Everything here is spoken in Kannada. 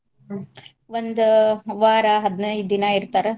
ಹ್ಮ್ ಒಂದ್ ವಾರ ಹದಿನೈದ್ ದಿನಾ ಇರ್ತಾರ.